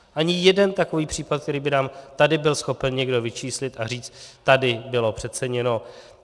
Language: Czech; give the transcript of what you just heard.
Ani jeden takový případ, který by nám tady byl schopen někdo vyčíslit a říct, tady bylo přeceněno.